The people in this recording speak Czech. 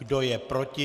Kdo je proti?